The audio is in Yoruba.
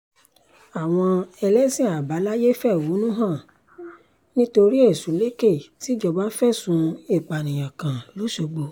àwọn ẹlẹ́sìn àbáláyé fẹ̀hónú hàn nítorí ẹ̀sùlẹ̀kẹ̀ tìjọba fẹ̀sùn ìpànìyàn kan lọ́ṣọ̀gbọ̀